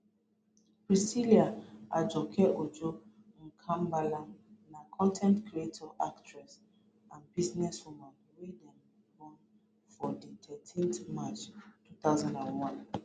priscilla ajoke ojo mkambala na con ten t creator actress and business woman wey born for di thirteenth march two thousand and one